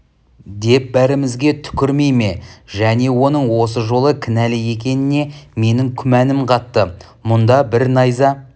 деп бәрімізге түкірмей ме және оның осы жолы кінәлі екеніне менің күмәнім қатты мұнда бір найза